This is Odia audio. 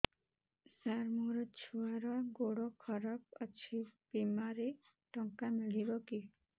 ସାର ମୋର ଛୁଆର ଗୋଡ ଖରାପ ଅଛି ବିମାରେ ଟଙ୍କା ମିଳିବ କି